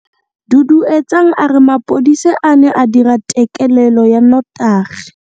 Duduetsang a re mapodisa a ne a dira têkêlêlô ya nnotagi.